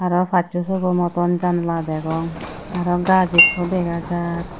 aro asso sobo moton janla degong aro gaas ikko dega jar.